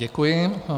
Děkuji.